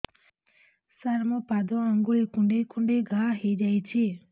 ସାର ମୋ ପାଦ ଆଙ୍ଗୁଳି କୁଣ୍ଡେଇ କୁଣ୍ଡେଇ ଘା ହେଇଯାଇଛି